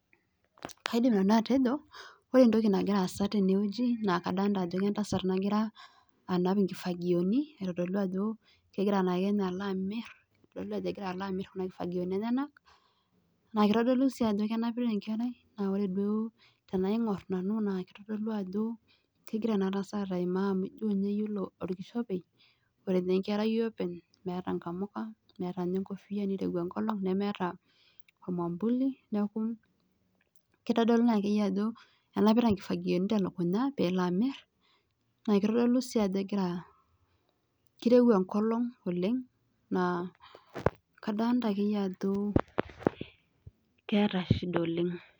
Kaidim nanu atejo ore entoki nagira aasa tenewueji naaa kadolta ajo entasat nagira anap inkifagioni aitodolu ajo kegira alo amir kuna kifagioni enyenak naa kitodolu sii ajo kenapita enkerai naa ore duo tenaigor naa kitodolu ajo kegira enatasat aimaa amu ijo ninye ore okishopei , ore ninye enkerai openy meeta nkamuka , meeta ekofia , nirowua enkolong nemeeta ormwambuli